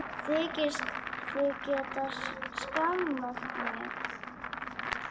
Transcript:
Þykist þið geta skammað mig!